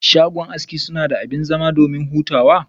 Shago aski sunada abin zama domin hutawa.